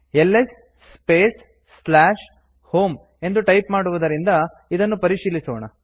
LS space home ಎಂದು type ಮಾಡುವುದರಿಂದ ಇದನ್ನು ಪರಿಶೀಲಿಸೋಣ